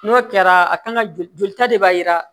N'o kɛra a kan ka joli jolita de b'a jira